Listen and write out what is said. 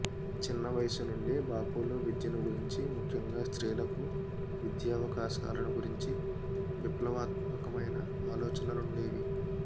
చిన్న వయసు నుండే బాఫూలో విద్యను గురించి ముఖ్యంగా స్త్రీలకు విద్యావకాశాలను గురించి విప్లవాత్మకమైన ఆలోచనలుండేవి